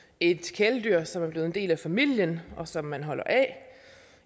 et kæledyr som er blevet en del af familien og som man holder af